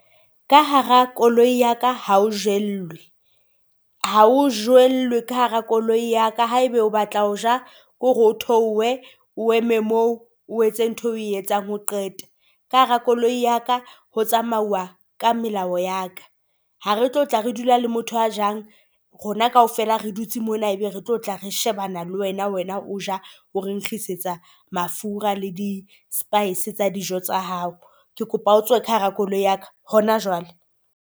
Ka hara koloi ya ka ha o jwellwe. Ha o jwellwe ka hara koloi ya ka, haeba o batla ho ja ke hore o theohele o eme moo, o etse ntho e etsang o qete. Ka hara koloi ya ka ho tsamauwa ka melao ya ka. Ha re tlo tla re dula le motho a jang, rona kaofela re dutse mona ebe re tlo tla re shebana le wena, wena o ja o re nkgisetsa mafura le di di-spice tsa dijo tsa hao. Ke kopa o tswe ka hara koloi ya ka hona jwale.